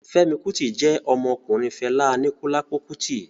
Fẹ́mi Kútì jẹ́ ọmọ ọkùnrin Fẹlá Aníkúlápó Kútì